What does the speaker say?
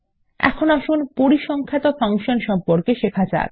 এখন আসুন পরিসংখ্যাত সম্পর্কে শেখা যাক